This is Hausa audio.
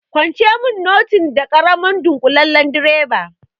Kwance mun notin da karamar ɗunkulen direba!